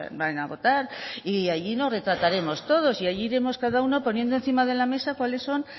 van a votar y allí nos retrataremos todos y allí iremos cada uno poniendo encima de la mesa cuáles son